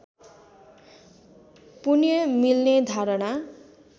पुण्य मिल्ने धारणा